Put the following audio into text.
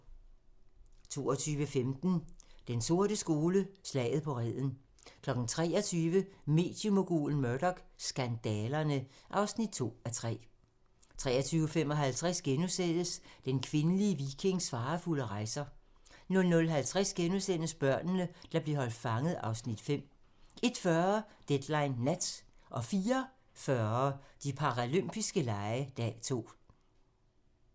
22:15: Den sorte skole: Slaget på Reden 23:00: Mediemogulen Murdoch: Skandalerne (2:3) 23:55: Den kvindelige vikings farefulde rejser * 00:50: Børnene, der blev holdt fanget (Afs. 5)* 01:40: Deadline nat 04:40: De paralympiske lege - dag 2